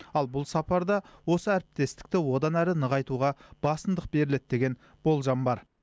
ал бұл сапарда осы әріптестікті одан әрі нығайтуға басымдық беріледі деген болжам бар